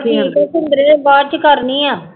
ਠੀਕ ਆ ਸਿੰਦਰੇ ਬਾਅਦ ਚ ਕਰਨੀ ਆਂ।